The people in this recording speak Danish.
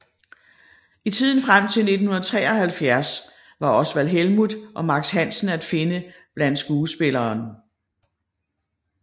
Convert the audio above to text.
I tiden frem til 1973 var Osvald Helmuth og Max Hansen at finde blandt skuespillerne